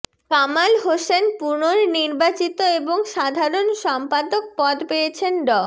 কামাল হোসেন পুনর্নির্বাচিত এবং সাধারণ সম্পাদক পদ পেয়েছেন ড